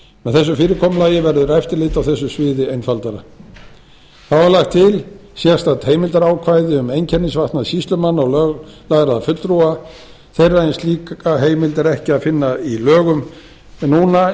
þessu fyrirkomulagi verður eftirlit á þessu sviði einfaldara þá er lagt til sérstakt heimildarákvæði um einkennisfatnað sýslumanna og löglærðra fulltrúa þeirra en slíkar heimildir er ekki að finna í lögum núna